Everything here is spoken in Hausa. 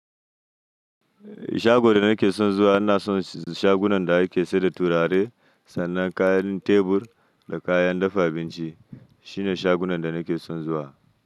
Eh shago da nake son zuwa ina son shagunan da ake sai da turare sannan kayan tebur da kayan dafa abinci. Shine shagunan da nake son zuwa.